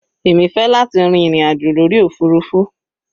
Èmi fẹ́ láti rin ìrìn àjò lórí òfurufú.